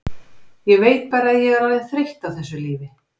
Ég veit bara að ég er orðin þreytt á þessu lífi.